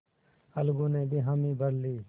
अलगू ने भी हामी भर ली